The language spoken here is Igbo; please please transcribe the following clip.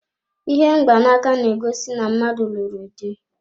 Ihe mgbanaka na-egosi na mmadụ lụrụ dị.